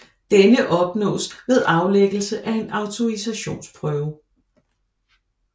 Denne opnås ved aflæggelse af en autorisationsprøve